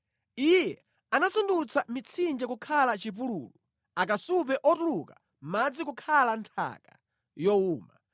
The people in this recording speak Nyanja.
Iye anasandutsa mitsinje kukhala chipululu, akasupe otuluka madzi kukhala nthaka yowuma,